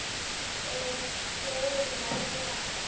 Við eigum nóg með okkar.